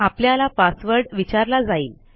आपल्याला पासवर्ड विचारला जाईल